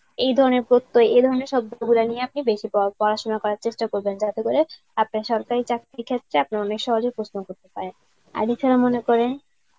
এ ধরনের প্রত্যয় এ ধরনের শব্দ গুলা নিয়ে আপনি বেশি পরা~ পড়াশুনা করার চেষ্টা করবেন যাতে করে আপনার সরকারি চাকরির ক্ষেত্রে আপনি অনেক সহজেই প্রশ্ন করতে পারেন. আর এছাড়া মনে করেন